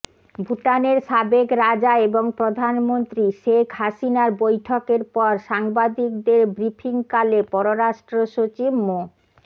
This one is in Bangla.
ভুটানের সাবেক রাজা এবং প্রধানমন্ত্রী শেখ হাসিনার বৈঠকের পর সাংবাদিকদের ব্রিফিংকালে পররাষ্ট্র সচিব মো